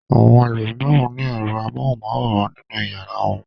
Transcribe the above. Àwọn ẹlòmíràn ní ẹ̀rọ amóhùmáwòhán nínú ìyàrá wọn.